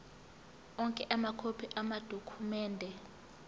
onke amakhophi amadokhumende